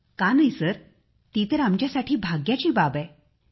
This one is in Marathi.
समूह स्वर का नाही सर ती तर आमच्यासाठी सौभाग्याची बाब आहे